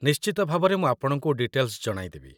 ନିଶ୍ଚିତ ଭାବରେ ମୁଁ ଆପଣଙ୍କୁ ଡିଟେଲ୍‌ସ୍ ଜଣାଇଦେବି ।